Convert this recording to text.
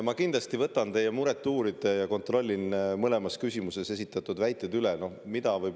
Ma kindlasti võtan teie muret uurida ja kontrollin mõlemas küsimuses esitatud väited üle.